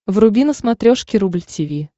вруби на смотрешке рубль ти ви